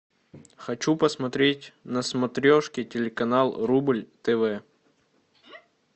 хочу посмотреть на смотрешке телеканал рубль тв